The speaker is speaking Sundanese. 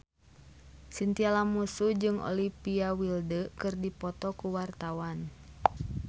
Chintya Lamusu jeung Olivia Wilde keur dipoto ku wartawan